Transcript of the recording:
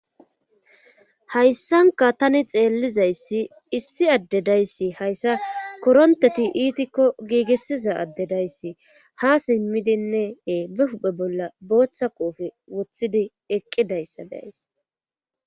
hayssanka tani xeellizayssi issi addedayssi hayssa koronteti iitikko giigissiza addedayssi ha simmidinnee be huphe bolla boochcha qoofe wothidi eqqidayssa be7ays